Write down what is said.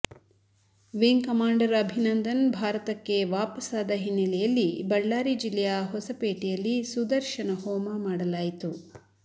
wing commander Abhinandan ಭಾರತಕ್ಕೆ ವಾಪಸ್ಸಾದ ಹಿನ್ನಲೆಯಲ್ಲಿ ಬಳ್ಳಾರಿ ಜಿಲ್ಲೆಯ ಹೊಸಪೇಟೆಯಲ್ಲಿ ಸುದರ್ಶನ ಹೋಮ ಮಾಡಲಾಯಿತು